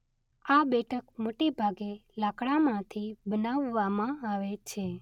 આ બેઠક મોટેભાગે લાકડામાંથી બનાવવામાં આવે છે.